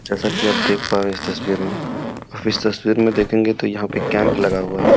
जैसा कि आप देख पा रहे हैं इस तस्वीर में इस तस्वीर में देखेंगे तो यहाँ पे कैंप लगा हुआ है।